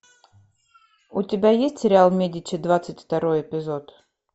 у тебя есть сериал медичи двадцать второй эпизод